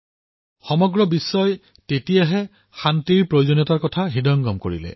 ইয়াৰ দ্বাৰা সমগ্ৰ বিশ্বই শান্তিৰ গুৰুত্ব কি এয়া বুজি পালে